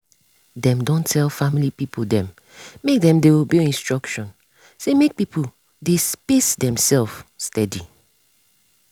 dem don tell family people dem make dem dey obey instruction say make people dey space demsef steady.